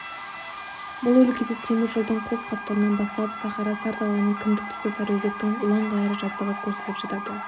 бұл өлкеде темір жолдың қос қапталынан басталып сахара сар даланың кіндік тұсы сарыөзектің ұлан-ғайыр жазығы көсіліп жатады